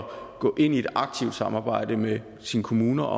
gå ind i et aktivt samarbejde med sine kommuner